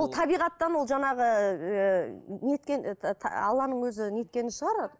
ол табиғаттан ол жаңағы ыыы не еткен этот алланың өзі не еткені шығар